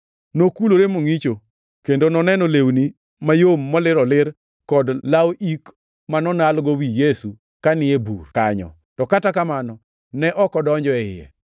Nokulore mongʼicho, kendo noneno lewni mayom molir olir kod law ik ma nonalgo wi Yesu kani ei bur kanyo. To kata kamano, ne ok odonjo e iye.